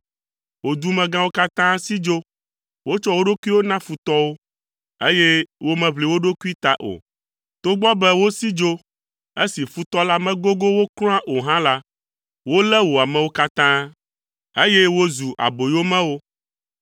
Wò dumegãwo katã si dzo; wotsɔ wo ɖokuiwo na futɔwo, eye womeʋli wo ɖokui ta o. Togbɔ be wosi dzo esi futɔ la megogo wo kura o hã la, wolé wò amewo katã, eye wozu aboyomewo.